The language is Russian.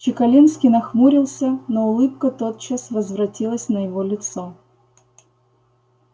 чекалинский нахмурился но улыбка тотчас возвратилась на его лицо